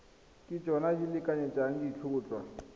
ke tsona di lekanyetsang ditlhotlhwa